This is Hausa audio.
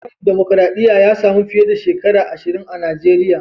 Tsarin dumukuradiyya ya sami fiye da shekara ashirin a Najeriya.